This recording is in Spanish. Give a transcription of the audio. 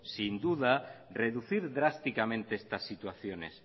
sin duda reducir drásticamente estas situaciones